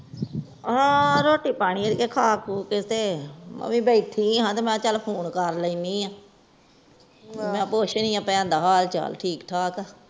ਹਾਂ ਰੋਟੀ ਪਾਣੀ ਖਾ ਕਹੁ ਕੇ ਤੇ ਮੈਂ ਵੀ ਬੈਠੀ ਆ ਮੈਂ ਕਿਹਾ ਚਾਲ ਪੁੱਛਦੀ ਆ ਭੈਣ ਦਾ ਹਾਲ ਚਾਲ ਠੀਕ ਠਾਕ ਆ